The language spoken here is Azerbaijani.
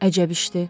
Əcəb işdir.